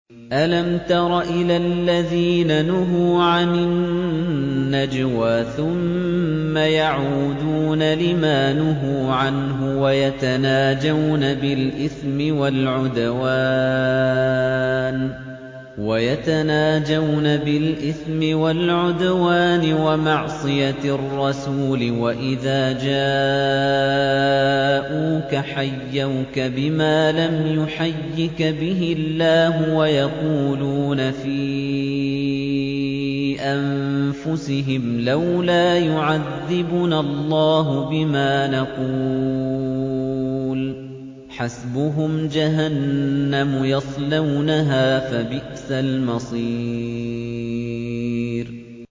أَلَمْ تَرَ إِلَى الَّذِينَ نُهُوا عَنِ النَّجْوَىٰ ثُمَّ يَعُودُونَ لِمَا نُهُوا عَنْهُ وَيَتَنَاجَوْنَ بِالْإِثْمِ وَالْعُدْوَانِ وَمَعْصِيَتِ الرَّسُولِ وَإِذَا جَاءُوكَ حَيَّوْكَ بِمَا لَمْ يُحَيِّكَ بِهِ اللَّهُ وَيَقُولُونَ فِي أَنفُسِهِمْ لَوْلَا يُعَذِّبُنَا اللَّهُ بِمَا نَقُولُ ۚ حَسْبُهُمْ جَهَنَّمُ يَصْلَوْنَهَا ۖ فَبِئْسَ الْمَصِيرُ